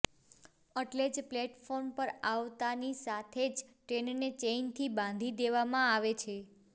એટલે જ પ્લેટફોર્મ પર આવતાની સાથે જ ટ્રેનને ચેઈનથી બાંધી દેવામાં આવે છે